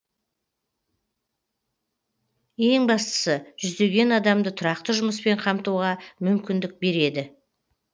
ең бастысы жүздеген адамды тұрақты жұмыспен қамтуға мүмкіндік береді